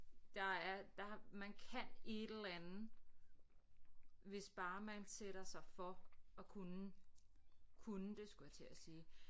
Der er der man kan et eller anden hvis bare man sætter sig for at kunne kunne det skulle jeg til at sige